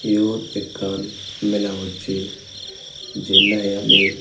iyot ekkan Mela bochi Jin nahi ami.